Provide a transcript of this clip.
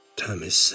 Təmizsən.